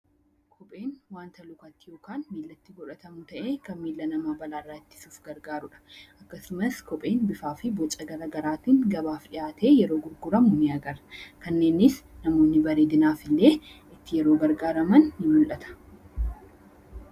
Kopheen wanta lukatti (miilatti) godhatamu ta'ee kan miila namaa balaa irraa ittisuuf gargaaru dha. Akkasumas kopheen bifaa fi boca garagaraatiin gabaaf dhiyaatee yeroo gurguramu ni agarra. Kanneenis namoonni bareedinaaf illee itti yeroo gargaaraman ni mul'ata.